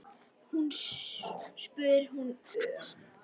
spyr hún örg.